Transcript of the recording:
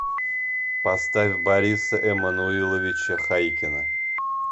поставь бориса эммануиловича хайкина